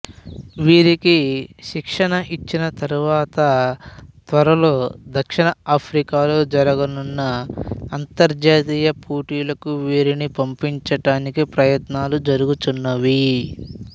వీరికి శిక్షణ ఇచ్చిన తరువాత త్వరలో దక్షిణ ఆఫ్రికాలో జరుగనున్న అంతర్జాతీయ పోటీలకు వీరిని పంపించటానికి ప్రయత్నాలు జరుగుచున్నవి